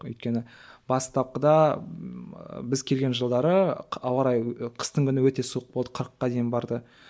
өйткені бастапқыда біз келген жылдары ауа райы қыстың күні өте суық болды қырыққа дейін барды